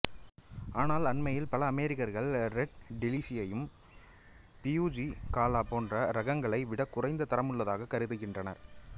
ஆனால் அண்மையில் பல அமெரிக்கர்கள் ரெட் டெலிசியசை பியுஜி காலா போன்ற இரகங்களை விடக் குறைந்த தரமுள்ளதாகக் கருதுகின்றனர்